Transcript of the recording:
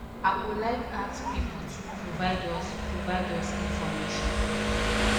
i go like ask pipo to provide us provide us information